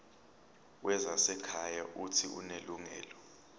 wezasekhaya uuthi unelungelo